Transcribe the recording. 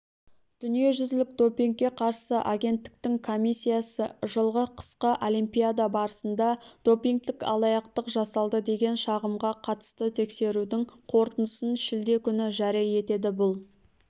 дүниежүзілік допингке қарсы агенттіктің комиссиясы жылғы қысқы олимпиада барысында допингтік алаяқтықжасалды деген шағымға қатысты тексерудің қорытындысын шілде күні жария етеді бұл